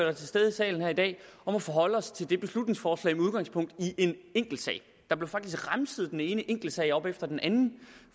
er til stede i salen her i dag om at forholde os til det beslutningsforslag med udgangspunkt i en enkeltsag der blev faktisk remset den ene enkeltsag op efter den anden